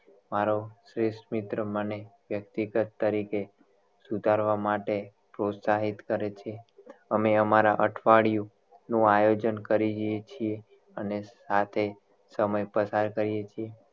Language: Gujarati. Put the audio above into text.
મારો શ્રેષ્ઠ મિત્ર મને વ્યક્તિગત તરીકે સુધારવા માટે પ્રોત્સાહિત કરે છે અમે અમારા અઠવાડિયું નું આયોજન કરીએ છીએ અને સાથે સમય પસાર કરીએ છીએ